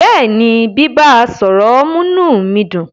Bẹ́ẹ̀ni, bíbá, à sọ̀rọ̀ mú inú mi dùn.